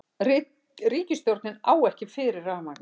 Ríkisstjórnin á ekki fyrir rafmagni